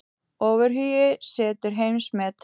Ofurhugi setur heimsmet